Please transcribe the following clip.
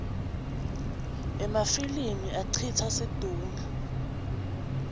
emafilimi acitsa situngle